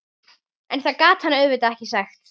En það gat hann auðvitað ekki sagt.